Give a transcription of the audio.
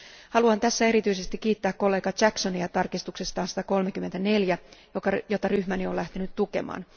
Haluan tässä erityisesti kiittää kollega Jacksonia hänen tarkistuksestaan 134, jota ryhmäni on lähtenyt tukemaan.